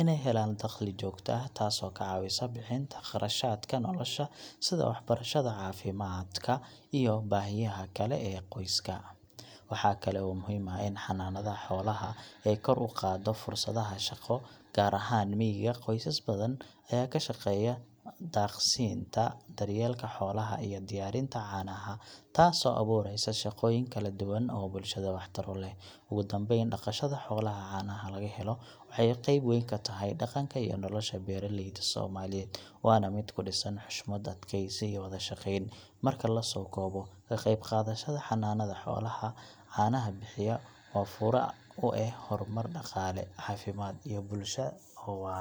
inay helaan dakhli joogto ah, taasoo ka caawisa bixinta kharashaadka nolosha sida waxbarashada, caafimaadka, iyo baahiyaha kale ee qoyska. Waxaa kale oo muhiim ah in xanaanada xoolaha ay kor u qaaddo fursadaha shaqo, gaar ahaan miyiga. Qoysas badan ayaa ka shaqeeya daaqsinka, daryeelka xoolaha, iyo diyaarinta caanaha, taasoo abuureysa shaqooyin kala duwan oo bulshada waxtar u leh. Ugu dambeyn, dhaqashada xoolaha caanaha laga helo waxay qeyb weyn ka tahay dhaqanka iyo nolosha beeraleyda Soomaaliyeed, waana mid ku dhisan xushmad, adkaysi, iyo wada shaqeyn. Marka la soo koobo, ka qeybqaadashada xanaanada xoolaha caanaha bixiya waa fure u ah horumar dhaqaale, caafimaad, iyo bulsho oo waara.